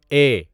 اے